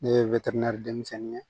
Ne ye denmisɛnnin ye